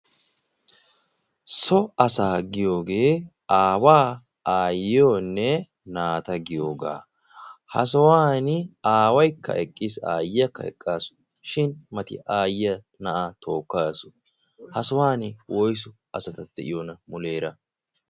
so asaa giyoogee aawaa, aayiyonne naata giyoogaa. Ha sohuwani aawaykka eqqiis, aayiyaaka eqaasu shin mati aayiya na'aa tookaasu. Ha sohuwani woyssu asati de'iyoona muleera?